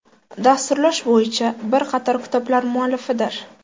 Dasturlash bo‘yicha bir qator kitoblar muallifidir.